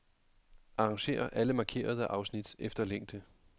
Arrangér alle markerede afsnit efter længde.